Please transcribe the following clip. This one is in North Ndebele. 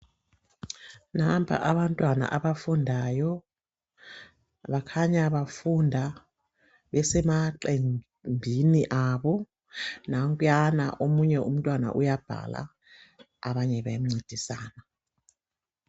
Nampa abantwana abafundayo bakhanya bafunda besemaqembini abo nankuyana omunye umntwana uyabhala abanye bemncedisa.